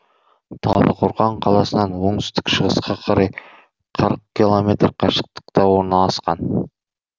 талдықорған қаласынан оңтүстік шығысқа қарай қырық километр қашықтықта орналасқан